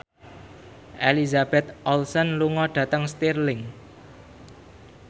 Elizabeth Olsen lunga dhateng Stirling